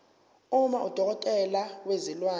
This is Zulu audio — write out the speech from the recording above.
uma udokotela wezilwane